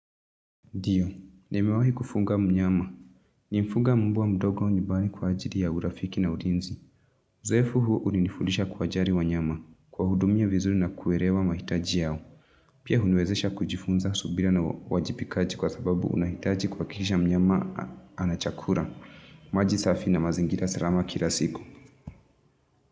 Ndiyo, nimewahi kufunga mnyama. Nilifuga mbwa mdogo nyumbani kwa ajili ya urafiki na ulinzi. Uzoefu huu ulinifundisha kuwajali wanyama. Kuwahudumia vizuri na kuelewa mahitaji yao. Pia huniwezesha kujifunza subira na uwajibikaji kwa sababu unahitaji kuhakikisha mnyama ana chakula. Maji safi na mazingira salama kila siku.